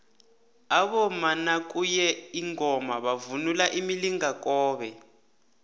abomama nakuye ingoma bavunula imilingakobe